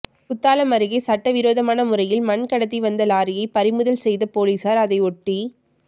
குத்தாலம் அருகே சட்டவிரோதமான முறையில் மண் கடத்திவந்த லாரியை பறிமுதல் செய்த போலீசாா் அதை ஓட்டி